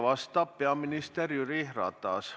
Vastab peaminister Jüri Ratas.